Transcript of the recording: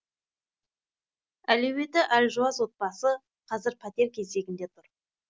әлеуеті әлжуаз отбасы қазір пәтер кезегінде тұр